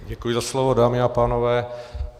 Děkuji za slovo, dámy a pánové.